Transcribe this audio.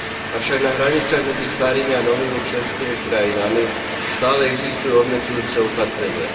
Avšak na hraniciach medzi starými a novými členskými krajinami stále existujú obmedzujúce opatrenia.